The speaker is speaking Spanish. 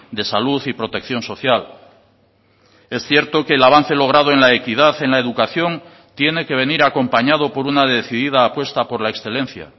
de salud y protección social es cierto que el avance logrado en la equidad en la educación tiene que venir acompañado por una decidida apuesta por la excelencia